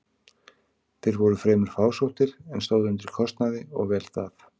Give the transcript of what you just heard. Þeir voru fremur fásóttir, en stóðu undir kostnaði og vel það.